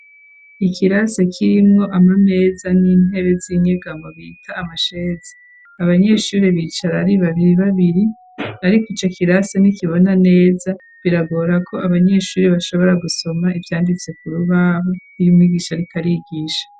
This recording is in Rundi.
Ikirasi kirimwo amameza n'intebe z'inyegamo bita amasheze abanyeshuri bicara ari babiri babiri ariko ico kirasa nikibona neza biragora ko abanyeshuri bashobora gusoma ivyanditse ku rubahu iyo umwigisha ariko arigisha.